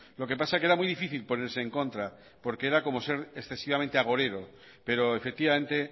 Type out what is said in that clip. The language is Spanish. lo que pasa es que era muy difícil ponerse en contra porque era como ser excesivamente agorero pero efectivamente